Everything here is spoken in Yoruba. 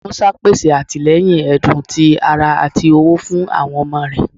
Musa pese atilẹyin ẹdun, ti ara, ati owo fun awọn ọmọ rẹ.